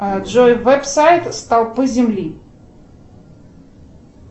джой веб сайт столпы земли